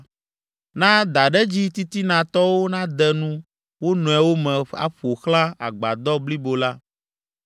Na daɖedzi titinatɔwo nade nu wo nɔewo me aƒo xlã agbadɔ blibo la.